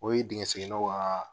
O ye dingɛ seginnaw ka